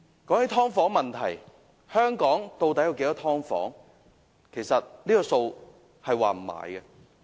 關於"劏房"問題，香港的"劏房"數目其實並不確定。